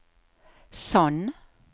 Sand